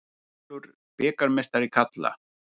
Valur bikarmeistari karla